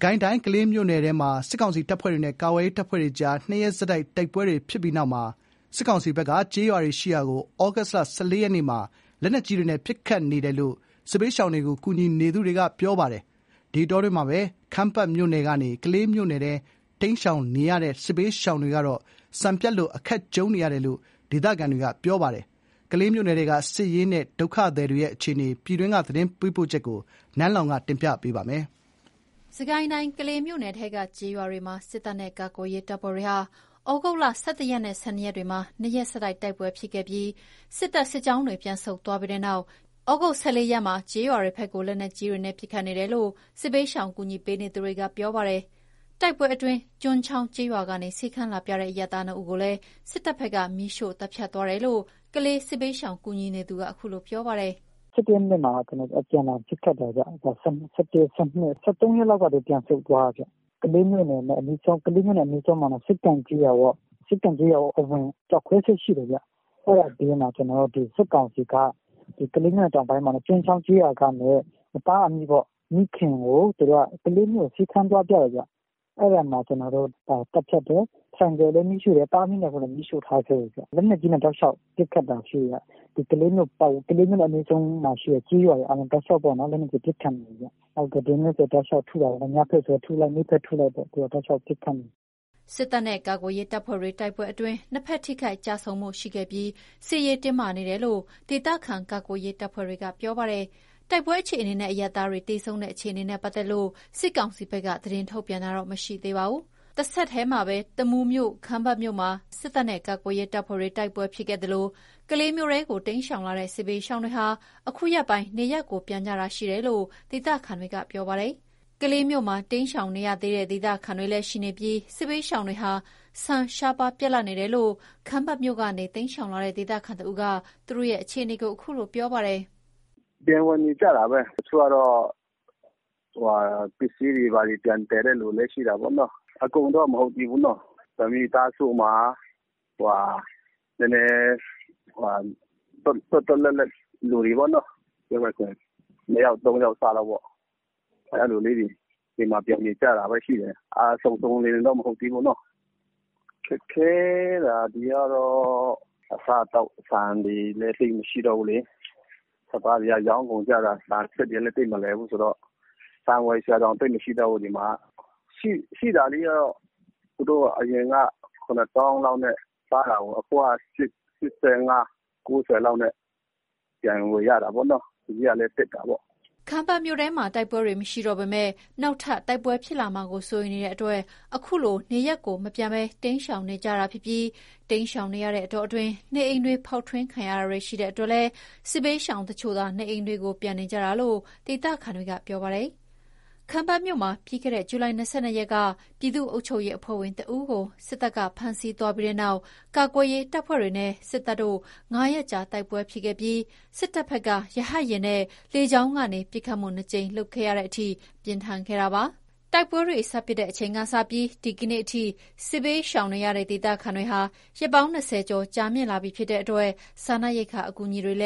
ကိုင်းတိုင်း ကလေးမြို့နယ်ထဲမှာ စစ်ကောင်စီတပ်ဖွဲ့တွေနဲ့ ကာကွယ်ရေး တပ်ဖွဲ့တွေကြား နှစ်ရက်ဆက်တိုက် တိုက်ပွဲဖြစ်ပြီးနောက် စစ်ကောင်စီ ဘက်က ကျေးရွာတွေရှိရာကို လက်နက်ကြီးတွေနဲ့ ပစ်ခတ်နေတယ်လို့ စစ်ဘေးရှောင်တွေကို ကူညီနေသူတွေက ပြောပါတယ်။ ဒီအတောအတွင်း ခမ်းပတ်မြို့ကနေ ကလေးမြို့ထဲ တိမ်းရှောင်နေရတဲ့ စစ်ဘေးရှောင်တွေကတော့ ဆန်ပြတ်လို့ အခက်ကြုံနေရတယ်လို့ ဒေသခံတွေက ပြောပါတယ်။ ကလေးမြို့နယ်ထဲက စစ်ရေးနဲ့ ဒုက္ခသည်တွေရဲ့ အခြေအနေကို နန်းလောင်ဝ် တင်ပြပေးထားပါတယ်။ စစ်ကိုင်းတိုင်း ကလေးမြို့နယ်ထဲက ကျေးရွာတွေမှာ စစ်တပ်နဲ့ကာကွယ်ရေး တပ်ဖွဲ့တွေကြား ဒီလ ၁၁ ရက်နဲ့ ၁၂ ရက်နေ့တွေက နှစ်ရက် ဆက်တိုက် တိုက်ပွဲတွေ ဖြစ်ခဲ့ပြီး စစ်တပ်စစ်ကြောင်းတွေ ပြန်ဆုတ်သွားပြီးတဲ့နောက် သြဂုတ်လ ၁၄ ရက်နေ့မှာတော့ ကျေးရွာတွေဘက်ကို လက်နက်ကြီးတွေနဲ့ ပစ်ခတ်နေတယ်လို့ စစ်ဘေးရှောင် ကူညီပေးနေသူတွေက ပြောပါတယ်။ တိုက်ပွဲတွေအတွင်း ကျွန်းချောင်းကျေးရွာကနေ ဆေးခန်းလာပြတဲ့ အရပ်သား ၂ ဦးကို စစ်တပ်ဘက်က မီးရှို့သတ်ဖြတ်သွားတယ်လို့ ကလေး ဒေသခံ စစ်ဘေးရှောင်ကူညီနေသူက အခုလို ပြောပါတယ်။ “၁၁ ရက်နေ့မှာ အပြန်အလှန် ပစ်ခတ်တယ်ခင်ဗျ။ ၁၁၊ ၁၂၊ ၁၃ ရက်လောက်မှာ သူတို့ ပြန်ဆုတ်သွားတယ်။ ကလေးမြို့နဲ့ အနီးဆုံး စက္ကန့်ကျေးရွာပေါ့။ စက္ကန့် ကျေးရွာအဝင် ကျောက်ခွဲစက် ရှိတယ်။ အဲ့ဘေးမှာ စစ်ကောင်စီက ကလေးမြို့တောင်ပိုင်း ကျွန်းချောင်းကျေးရွာကနေ သားအမိပေါ့။ မိခင်ကို ဆေးခန်းသွားပြတယ်ခင်ဗျ။ အဲ့ဒါမှာ သတ်ဖြတ်တယ်။ ဆိုင်ကယ်လည်းမီးရှို့တယ်။ သားအမိ ၂ ယောက်လုံးကိုလည်း မီးရှို့ထားခဲ့တယ်ခင်ဗျ။ လက်နက်ကြီးနဲ့ တောက်လျှောက် ပစ်ခတ်တာရှိတယ်။ ကလေးမြို့နဲ့အနီးဆုံးရှိတဲ့ကျေးရွာတွေကို လက်နက်ကြီးနဲ့ ပစ်ခတ်နေတယ်။ ဒီနေ့ဆို တောက်လျှောက်ထုနေတာ။ နေ့ဘက်ထုလိုက် ညဘက်ထုလိုက် တောက်လျှောက်ကိုထုနေတာ။” စစ်တပ်နဲ့ကာကွယ်ရေးတပ်ဖွဲ့တွေကြား တိုက်ပွဲအတွင်း နှစ်ဘက် ထိခိုက်ကျဆုံးမှု ရှိခဲ့ပြီး စစ်ရေး တင်းမာနေတယ်လို့ ဒေသခံ ကာကွယ်ရေးတပ်ဖွဲ့တွေက ပြောပါတယ်။ တိုက်ပွဲအခြေအနေနဲ့ အရပ်သားသေဆုံးမှုတွေနဲ့ပတ်သက်လို့ စစ်ကောင်စီဘက်က သတင်းထုတ်ပြန်တာ မရှိသေးပါဘူး။ ဒီအတောအတွင်း တမူးမြို့နယ်ထဲက ခမ်းပတ်မြို့မှာ ပြီးခဲ့တဲ့လက တိုက်ပွဲတွေကြောင့် ကလေးမြို့ဘက် စစ်ရှောင်နေကြသူတွေကြား ဆန်ရှားပါးပြတ်လပ်လို့ စားသောက်ရေး အခက်ကြုံနေရပြီး စစ်ရှောင်တချို့ကတော့ ခမ်းပတ်မြို့ထဲ ပြန် ဝင်နေထိုင်ဖို့ ကြိုးစားနေကြတယ်လို့လည်း ဒေသခံတဦးက ပြောပါတယ်။ “ပြန်ဝင်နေကြတာပဲ။ တချို့ကတော့ ပစ္စည်းတွေ ဘာတွေ ပြန်သယ်နေကြတဲ့ သူတွေလည်း ရှိတာပေါ့။ အကုန်တော့ မဟုတ်သေးဘူး။ တမိသားစုမှာ နည်းနည်း သွက်သွက်လက်လက် လူတွေပေါ့နော်။ ပြောမယ်ဆို ၂ ယောက် ၃ ယောက်စပေါ့။ အဲ့လိုလေးတွေ အိမ်မှာ ပြန်နေကြတာပဲ ရှိတယ်။ စုံစုံလင်လင်တော့ မဟုတ်သေးဘူးပေါ့နော်။ ခက်ခဲတာ ဒီကတော့ အစားအသောက် ဆန်တွေလည်း သိပ်မရှိတော့ဘူးလေ။ စပါးတွေကလည်း ရောင်းကုန်ကြတာ။ ဆန်စက်တွေကလည်း သိပ်မလည်ဘူးဆိုတော့ ဆန်ဝယ်စရာတောင် သိပ်မရှိတော့ဘူး။ ဒီမှာက ရှိတာလေးက သူတို့အရင်က ၇ သောင်းလောက်နဲ့ စားတာကို အခုက ၈၅/၉၀ လောက်နဲ့ ပြန်ဝယ်ရတာပေါ့။ ဈေးကလည်း တက်တာပေါ့။” ခမ်းပတ်မြို့ထဲမှာ တိုက်ပွဲတွေမရှိတော့ပေမဲ့ နောက်ထပ် တိုက်ပွဲတွေ ဖြစ်လာမှာကို စိုးရိမ်နေရဆဲဖြစ်တာမို့ နေရပ်မပြန်ရဲသူတွေ အများအပြား ရှိနေတာပါ။ တချို့ကတော့ စစ်ရှောင်နေတဲ့ ကာလအတွင်း နေအိမ်တွေ ဖောက်ထွင်းခံရတာ ရှိလို့ နေအိမ်တွေကို ပြန်နေကြတာလို့ ဒေသခံတွေက ပြောပါတယ်။ ခမ်းပတ်မြို့မှာ ပြီးခဲ့တဲ့ ဇူလိုင် ၂၂ ရက်က ပြည်သူ့အုပ်ချုပ်ရေးအဖွဲ့ဝင်တဦးကို စစ်တပ်က ဖမ်းဆီးသွားပြီးတဲ့နောက် ကာကွယ်ရေးတပ်ဖွဲ့တွေနဲ့ စစ်တပ်တို့ ၅ ရက်ကြာတိုက်ပွဲဖြစ်ခဲ့ပြီး စစ်တပ်ဘက်က ရဟတ်ယာဉ်နဲ့ လေကြောင်းကနေ ၂ ကြိမ် ပစ်ခတ်တဲ့အထိ ပြင်းထန်ခဲ့ပါတယ်။ တိုက်ပွဲတွေ စဖြစ်တဲ့အချိန်ကစလို့ ဒီကနေ့အထိ ဒေသခံတွေ စစ်ဘေးရှောင်နေရတာ ရက် ၂၀ ကျော် ကြာလာနေပြီ ဖြစ်လို့ စားနပ်ရိက္ခာ အကူအညီတွေ လ